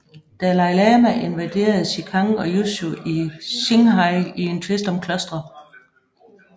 Dalai Lama invaderede Xikang og Yushu i Qinghai i en tvist om klostre